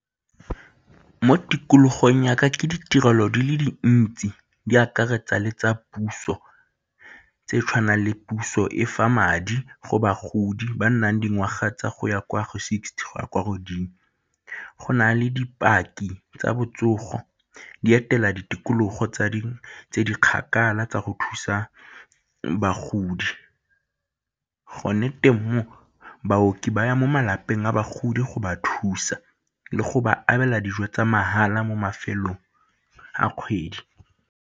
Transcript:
Mo tikologong ya ka ke ditirelo di le dintsi di akaretsa le tsa puso tse tshwanang le puso e fa madi go bagodi ba nnang dingwaga tsa go ya kwa go sixty go ya kwa godimo. Go na le dipaki tsa botsogo di etela ditikologo tse di kgakala tsa go thusa bagodi gone teng mo, baoki ba ya mo malapeng a bagodi go ba thusa le go ba abela dijo tsa mahala mo mafelong a kgwedi.